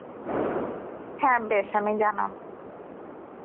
হ্যাঁ বেশ আমি জানাবো.